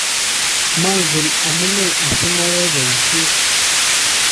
mangen amune asimayae boisiet